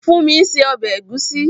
Fúnmi ń se ọbẹ̀ ẹ̀gúsí